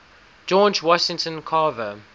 george washington carver